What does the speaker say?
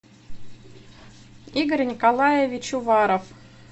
игорь николаевич уваров